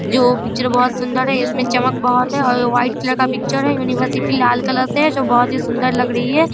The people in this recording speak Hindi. जो वो पिक्चर बहुत सुन्दर है इसमे चमक बहोत है और यह व्हाइट कलर का पिक्चर है यूनिवर्सिटी लाल कलर से है जो बहोत ही सुन्दर लग रही है।